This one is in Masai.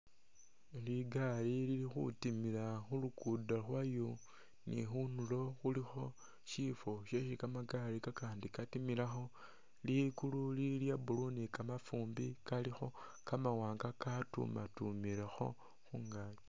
Ligali lili khutimila khu luguudo lwayo, khunulo khulikho sifwo syesi kamagali katimilakho. Ligulu lili lya blue ni kamafumbi kamawaanga katumatumilekhi khungaaki.